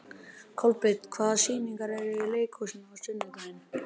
Kolbeinn, hvaða sýningar eru í leikhúsinu á sunnudaginn?